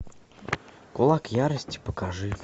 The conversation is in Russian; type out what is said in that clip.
кулак ярости покажи